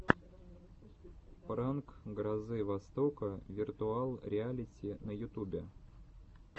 пранк грозы востока виртуал реалити на ютубе